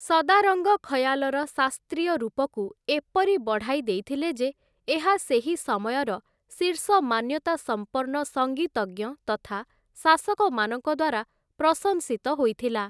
ସଦାରଙ୍ଗ ଖୟାଲର ଶାସ୍ତ୍ରୀୟ ରୂପକୁ ଏପରି ବଢ଼ାଇ ଦେଇଥିଲେ ଯେ ଏହା ସେହି ସମୟର ଶୀର୍ଷ ମାନ୍ୟତା ସମ୍ପନ୍ନ ସଙ୍ଗୀତଜ୍ଞ ତଥା ଶାସକମାନଙ୍କ ଦ୍ୱାରା ପ୍ରଶଂସିତ ହୋଇଥିଲା ।